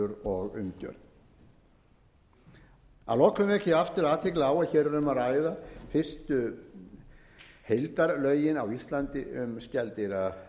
og umgjörð að lokum vek ég aftur athygli á að hér er um að ræða fyrstu heildarlögin á íslandi um